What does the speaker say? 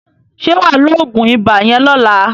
Ṣé wà á lo oògùn ibà yẹn lọ́la?